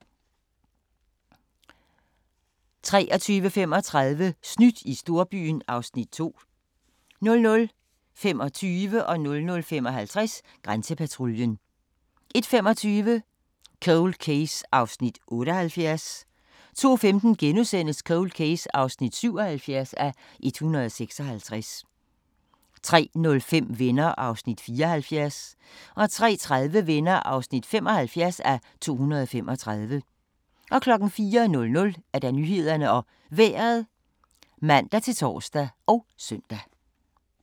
23:35: Snydt i storbyen (Afs. 2) 00:25: Grænsepatruljen 00:55: Grænsepatruljen 01:25: Cold Case (78:156) 02:15: Cold Case (77:156)* 03:05: Venner (74:235) 03:30: Venner (75:235) 04:00: Nyhederne og Vejret (man-tor og søn)